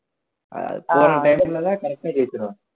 ` correct ஆ ஜெயிச்சுருவாங்க